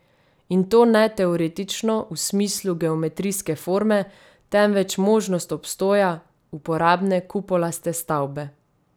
In to ne teoretično, v smislu geometrijske forme, temveč možnost obstoja uporabne kupolaste stavbe.